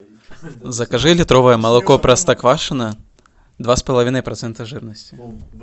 закажи литровое молоко простоквашино два с половиной процента жирности